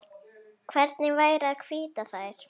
Hvernig væri að hvítta þær?